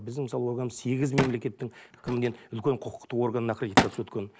біздің мысалы органымыз сегіз мемлекеттің кімнен үлкен құқықтық органнан аккредитация өткен